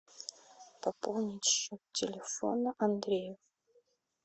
пополнить счет телефона андрею